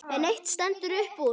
En eitt stendur upp úr.